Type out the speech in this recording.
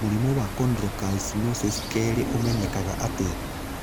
Mũrimũ wa chondrocalcinosis 2 ũmenyekaga atĩa?